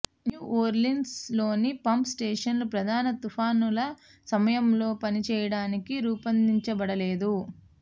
new Orleans లోని pump స్టేషన్లు ప్రధాన తుఫానుల సమయంలో పనిచేయడానికి రూపొందించబడలేదు